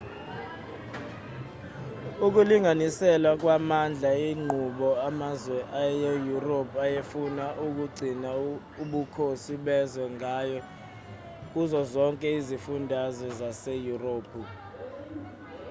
ukulinganiselwa kwamandla inqubo amazwe aseyurophu ayefuna ukugcina ubukhosi bezwe ngayo kuzo zonke izifunda zaseyurophu